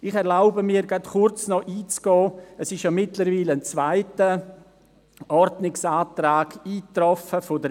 Ich erlaube mir, noch kurz auf den mittlerweile eingetroffenen zweiten Ordnungsantrag der BDP einzugehen.